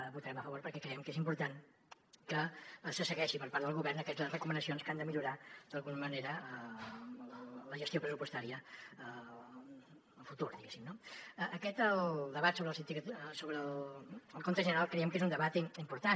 hi votarem a favor perquè creiem que és important que se segueixin per part del govern aquestes recomanacions que han de millorar d’alguna manera la gestió pressupostària a futur diguéssim no el debat sobre el compte general creiem que és un debat important